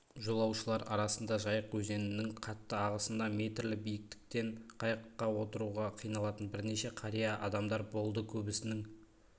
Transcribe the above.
жолаушылар арасында жайық өзенінің қатты ағысында метрлі биіктіктен қайыққа отыруға қиналатын бірнеше қария адамдар болды көбісінің